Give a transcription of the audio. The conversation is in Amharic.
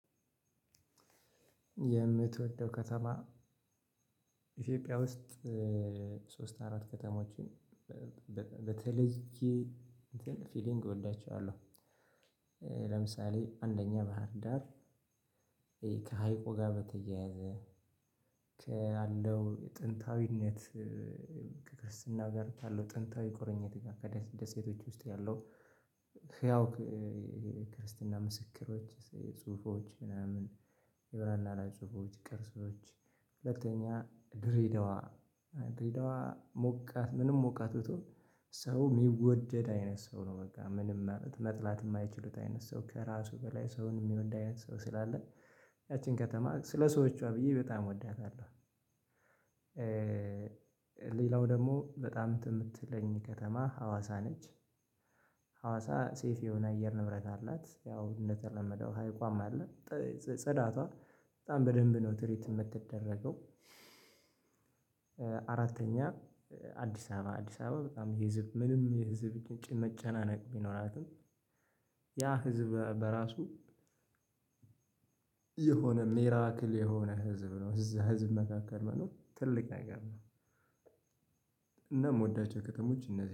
የምትወደው ከተማ ኢትዮጵያ ውስጥ ሶስት አራት ከተሞችን በተለይ ፊሊንግ እወዳቸዋለሁ። ለምሳሌ አንደኛ ባህር ዳር ይሄ ከሀይቁ ጋር በተያያዘ ካለው ጥንታዊነት ከክርስትና ጋር ያለው ጥንታዊ ቁርኝት ጋር ከደሴቶች ውስጥ ያለው ህያው ክርስትና ምስክሮች ጽሁፎች ምናምን የብራና ላይ ፅሁፎች ቅርሶች። ሁለተኛ ድሬዳዋ ድሬዳዋ ሞቃት ምንም ሞቃት ብትሆን ሰው የሚወደድ አይነት ሰው ነው። በቃ ምንም አመት መጥላት የማይችሉት አይነት ሰው ከራሱ በላይ ሰውን የሚወድ አይነት ሰው ስላለ ያቺን ከተማ ስለሰዎቿ ብዬ በጣም እወዳታለሁ። ሌላው ደግሞ በጣም እንትን የምትለኝ ከተማ ሀዋሳ ነች። ሀዋሳ ሰይፍ የሆነ አየር ንብረት አላት ያው እንደተለመደው ሀይቋም አለ ጽዳቷ በጣም በደንብ ነው ትሪት የምትደረገው። አራተኛ አዲስ አበባ አዲስ አበባ በጣም ህዝብ ምንም ይሄ ህዝብ ጭንቅ መጨናነቅ ቢኖራትም ያ ህዝብ በራሱ የሆነ ሚራክል የሆነ ህዝብ ነው እዛ ህዝብ መካከል መኖር ትልቅ ነገር ነው። እና የምወዳቸው ከተሞች እነዚህ